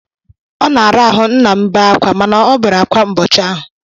Ọ na-ara ahụ nna m bee ákwá mana ọ obere akwa ụbọchị ahụ.